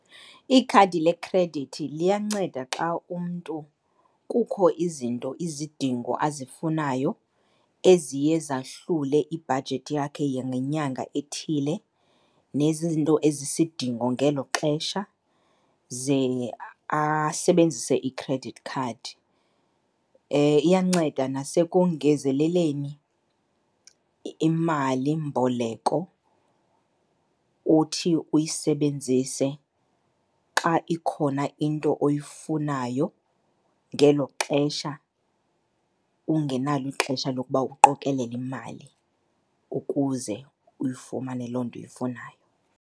Ikhadi lekhredithi liyanceda xa umntu kukho izinto, izidingo azifunayo eziye zahlule ibhajethi yakhe yangenyanga ethile nezinto ezisidingo ngelo xesha, ze asebenzise i-credit card. Iyanceda nasekongezeleleni imalimboleko othi uyisebenzise xa ikhona into oyifunayo ngelo xesha ungenalo ixesha lokuba uqokelele imali ukuze uyifumane loo nto uyifunayo.